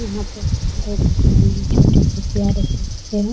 यहाँ पे दो छोटे से नन्हे से प्यारे से बच्चे हैं ।